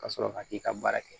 Ka sɔrɔ ka t'i ka baara kɛ